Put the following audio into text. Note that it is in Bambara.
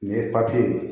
Nin ye papiye ye